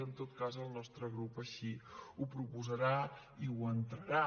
en tot cas el nostre grup així ho proposarà i ho entrarà